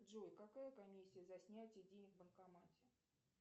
джой какая комиссия за снятие денег в банкомате